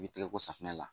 I bɛ tɛgɛ ko safunɛ la